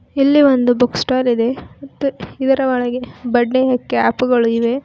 ಇಲ್ಲಿ ಒಂದು book stall ಇದೆ ಇದರ ಒಳಗೆ ಬರ್ತ್ಡೇ ಯ ಕ್ಯಾಪ್ ಗಳಿವೆ .